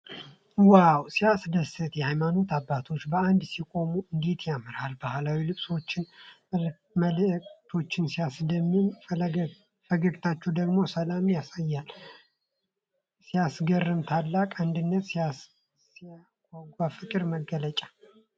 ዋው! ሲያስደስት! የሃይማኖት አባቶች በአንድነት ሲቆሙ እንዴት ያምራል! ባህላዊ ልብሳቸውና መልክዓቸው ሲያስደምም! ፈገግታቸው ደግሞ ሰላምን ያሳያል። ሲያስገርም! ታላቅ አንድነት! ሲያጓጓ! የፍቅር መገለጫ!